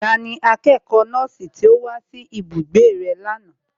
Tani akẹ́kọ̀ọ́ nọ́ọ̀sì tí ó wá sí ibùgbé rẹ lánàá?